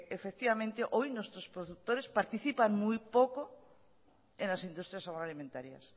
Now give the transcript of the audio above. hoy nuestros productores participan muy poco en las industrias agroalimentarias